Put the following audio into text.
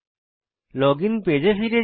login পেজে ফিরে আসি